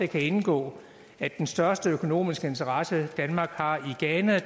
kan indgå at den største økonomiske interesse danmark har i ghana